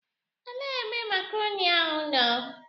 Elee ebe makrọni ahụ nọ?